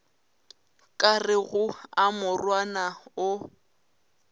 ka rego a morwana o